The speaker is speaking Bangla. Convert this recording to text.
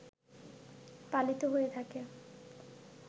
পালিত হয়ে থাকে